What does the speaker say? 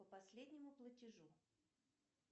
по последнему платежу